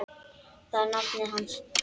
Það er nafnið hans.